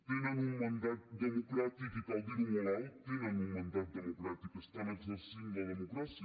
tenen un mandat democràtic i cal dir ho molt alt tenen un mandat democràtic estan exercint la democràcia